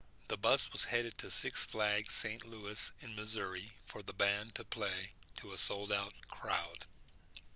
the bus was headed to six flags st louis in missouri for the band to play to a sold-out crowd